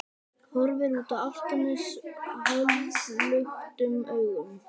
Horfir út á Álftanes hálfluktum augum.